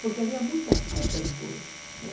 Porque havia muita falta de coisas, né?